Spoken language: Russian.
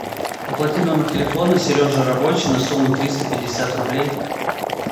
оплати номер телефона сережа рабочий на сумму триста пятьдесят рублей